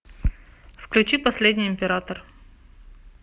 включи последний император